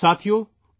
ساتھیو ،